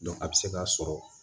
a bɛ se ka sɔrɔ